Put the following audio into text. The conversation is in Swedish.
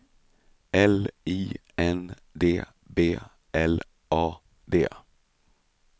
L I N D B L A D